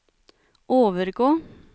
overgå